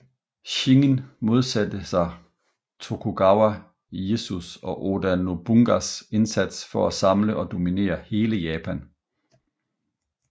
Shingen modsatte sig Tokugawa Ieyasus og Oda Nobunagas indsats for at samle og dominere hele Japan